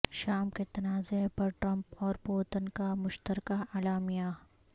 شام کے تنازع پر ٹرمپ اور پوتن کا مشترکہ اعلامیہ